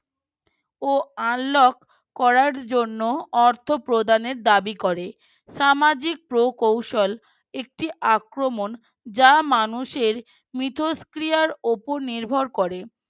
ও Unlock করার জন্য অর্ধ প্রদানের দাবি করে সামাজিক প্রোকৌশল একটি আক্রমণ যা মানুষের মিথস্ক্রিয়ার ওপর এ নির্ভর করে